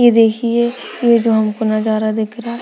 ये दाखिए ये जो हमको नजारा दिख रहा है